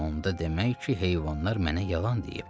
Onda demək ki, heyvanlar mənə yalan deyib.